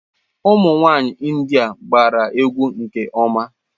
Ụmụ nwanyị India agbara egwu nke ọma.